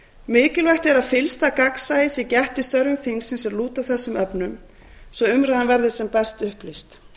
mikilvægt er að fyllsta gagnsæis sé gætt í störfum þingsins er lúta að þessum efnum svo umræðan verði sem best upplýst